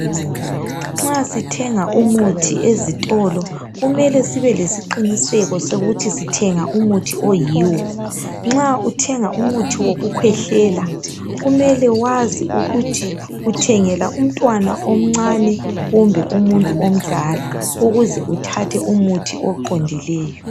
Nxa sithenga umuthi ezitolo kumele sibe lesiqiniseko sokuthi sithenga umuthi oyiwo. Nxa uthenga umuthi wokukhwehlela kumele wazi ukuthi uthengela umtwana omncane kumbe umuntu omdala ukuze uthathe umuthi oqondileyo